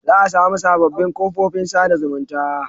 Za a samu sabobbin kofofin sa da zumunta